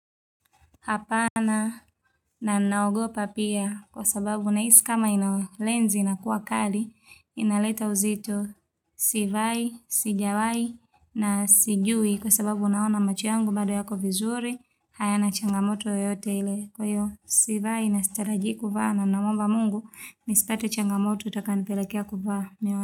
Hapana na naogopa pia kwa sababu nahisi kama ina lenzi inakuwa kali inaleta uzito sivai, sijawai na sijui kwa sababu naona macho yangu bado yako vizuri hayana changamoto yoteyote ile kwa hiyo sivai na sitarajii kuvaa na namomba mungu nisipate changamoto itakayonipelekea kuvaa.